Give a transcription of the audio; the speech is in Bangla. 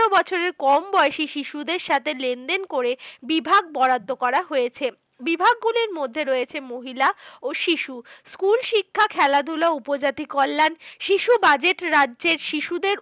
বছরের কম বয়সী শিশুদের সাথে লেনদেন করে বিভাগ বরাদ্দ করা হয়েছে। বিভাগগুলির মধ্যে রয়েছে মহিলা ও শিশু। school শিক্ষা, খেলাধুলা, উপজাতি কল্যাণ, শিশু budget রাজ্যের শিশুদের